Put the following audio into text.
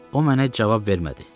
O mənə cavab vermədi.